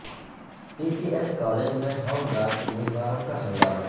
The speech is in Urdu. ٹی پی ایس کالج میں ہوم گارڈ امیدواروں کا ہنگامہ